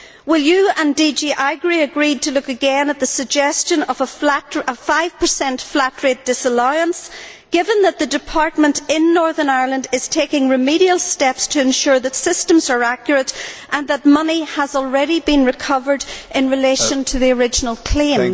Will you and DG AGRI agree to look again at the suggestion of a five per cent flat rate disallowance, given that the department in Northern Ireland is taking remedial steps to ensure that systems are accurate and that money has already been recovered in relation to the original claims?